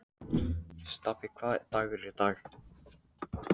Stapi, hvaða dagur er í dag?